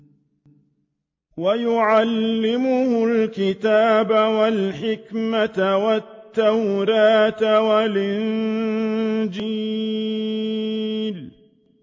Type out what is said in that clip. وَيُعَلِّمُهُ الْكِتَابَ وَالْحِكْمَةَ وَالتَّوْرَاةَ وَالْإِنجِيلَ